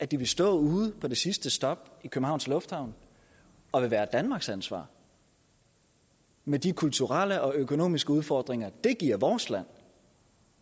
de vil stå ude på det sidste stop i københavns lufthavn og vil være danmarks ansvar med de kulturelle og økonomiske udfordringer det giver vores land